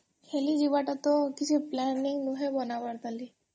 ଖେଲି ଯିବାର ତ କିଛି ନୁହେଁ plan ବନାବାର ଖାଲି